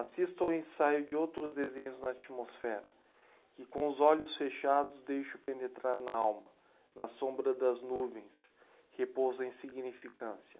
Assisto ao ensaio de outros desenhos na atmosfera, que com os olhos fechados deixo penetrar na alma, na sombra das nuvens, repouso em insignificância.